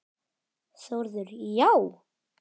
Þórður: Já?